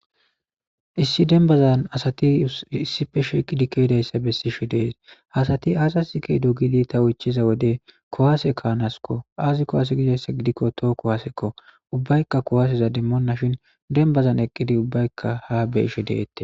Issi denbazan asati issi fe sheeqi dikedayssa bessi shi dees asati asas ke do gidi tawu ichiza wode kowaase kaanaskko aazi kohase gidayssa gidikko tookko haasekko ubbaykka kowaaseza dimmoonna shin denbazan eqqidi ubbaykka ha be ishe deette.